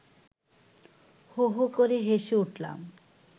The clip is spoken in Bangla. হো হো করে হেসে উঠলাম